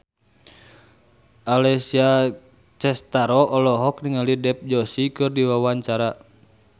Alessia Cestaro olohok ningali Dev Joshi keur diwawancara